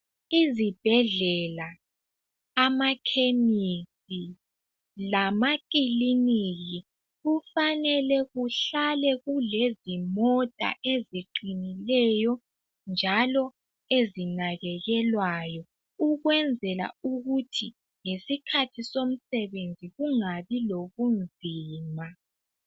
Izbhedlela, amakhemisi, lamakiliniki kufanele kuhlale kulezimota eziqinileyo njalo ezinakekelwayo, ukwenzela ukuthi ngesikhathi somsebenzi kungabi lobunzima.